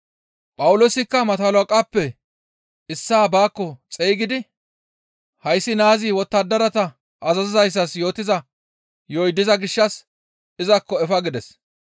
Phawuloosikka Mato halaqatappe issaa baakko xeygidi, «Hayssi naazi wottadarata azazizayssas yootiza yo7oy diza gishshas izakko efa» gides.